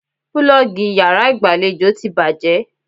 Púlọ́ọ́gì yàrá ìgbàlejò ti bàjẹ́.